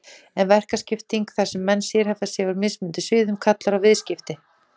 En verkaskipting, þar sem menn sérhæfa sig á mismunandi sviðum, kallar á viðskipti.